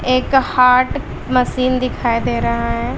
एक heart machine दिखाई दे रहा है।